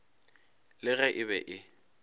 le ge e be e